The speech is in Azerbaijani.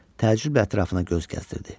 Təəccüblə ətrafına göz gəzdirdi.